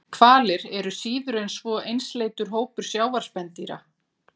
Hvalir eru síður en svo einsleitur hópur sjávarspendýra.